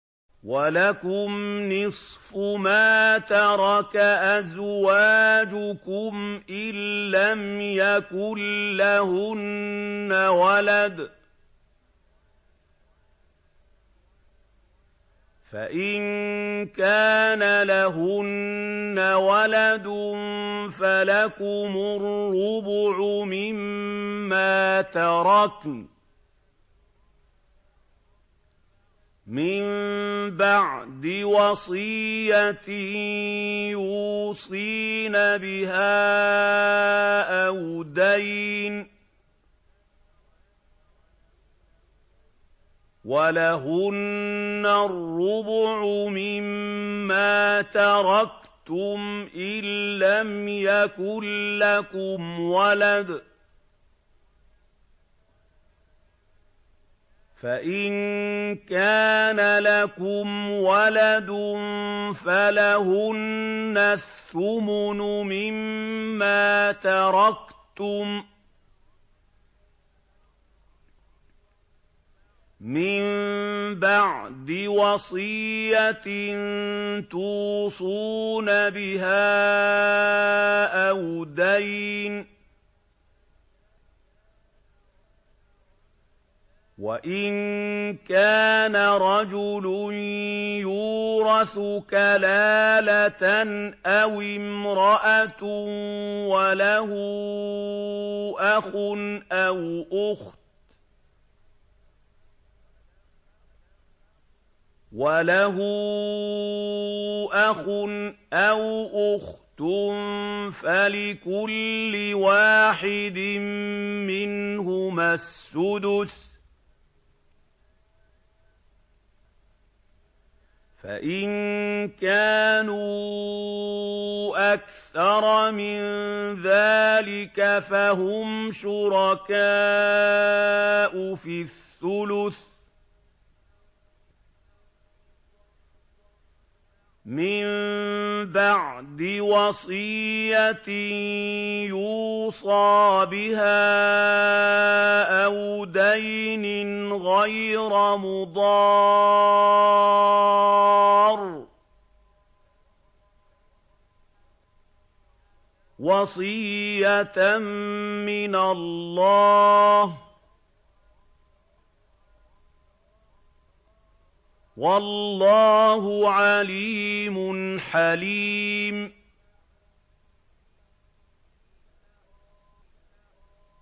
۞ وَلَكُمْ نِصْفُ مَا تَرَكَ أَزْوَاجُكُمْ إِن لَّمْ يَكُن لَّهُنَّ وَلَدٌ ۚ فَإِن كَانَ لَهُنَّ وَلَدٌ فَلَكُمُ الرُّبُعُ مِمَّا تَرَكْنَ ۚ مِن بَعْدِ وَصِيَّةٍ يُوصِينَ بِهَا أَوْ دَيْنٍ ۚ وَلَهُنَّ الرُّبُعُ مِمَّا تَرَكْتُمْ إِن لَّمْ يَكُن لَّكُمْ وَلَدٌ ۚ فَإِن كَانَ لَكُمْ وَلَدٌ فَلَهُنَّ الثُّمُنُ مِمَّا تَرَكْتُم ۚ مِّن بَعْدِ وَصِيَّةٍ تُوصُونَ بِهَا أَوْ دَيْنٍ ۗ وَإِن كَانَ رَجُلٌ يُورَثُ كَلَالَةً أَوِ امْرَأَةٌ وَلَهُ أَخٌ أَوْ أُخْتٌ فَلِكُلِّ وَاحِدٍ مِّنْهُمَا السُّدُسُ ۚ فَإِن كَانُوا أَكْثَرَ مِن ذَٰلِكَ فَهُمْ شُرَكَاءُ فِي الثُّلُثِ ۚ مِن بَعْدِ وَصِيَّةٍ يُوصَىٰ بِهَا أَوْ دَيْنٍ غَيْرَ مُضَارٍّ ۚ وَصِيَّةً مِّنَ اللَّهِ ۗ وَاللَّهُ عَلِيمٌ حَلِيمٌ